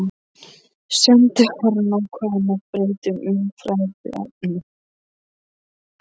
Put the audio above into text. Sendiherrann ákvað að breyta um umræðuefni.